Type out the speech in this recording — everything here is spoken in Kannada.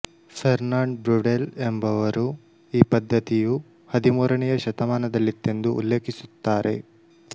ಫೆರ್ನಾಂಡ್ ಬ್ವ್ರುಡೆಲ್ ಎಂಬುವವರು ಈ ಪದ್ದತಿಯು ಹದಿಮೂರನೆಯ ಶತಮಾನದಲ್ಲಿತ್ತೆಂದು ಉಲ್ಲೇಖಿಸುತ್ತಾರೆ